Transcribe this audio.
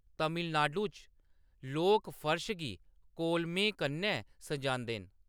तमिलनाडु च लोक फर्श गी कोलमें कन्नै सजांदे न।